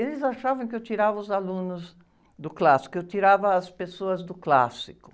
Eles achavam que eu tirava os alunos do clássico, que eu tirava as pessoas do clássico.